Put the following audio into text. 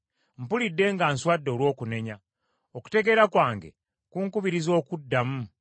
Mpulidde nga nswadde olw’okunenya, okutegeera kwange kunkubiriza okuddamu.